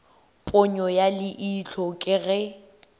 ponyo ya leihlo ke ge